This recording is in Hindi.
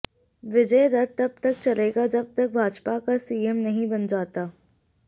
विजय रथ तब तक चलेगा जब तक भाजपा का सीएम नहीं बन जाता